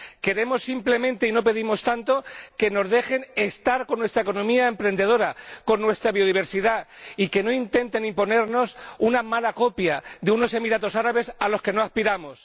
Queremos simplemente —y no pedimos tanto— que nos dejen estar con nuestra economía emprendedora, con nuestra biodiversidad, y que no intenten imponernos una mala copia de unos Emiratos Árabes a los que no aspiramos.